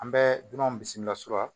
An bɛ dunanw bisimilasuran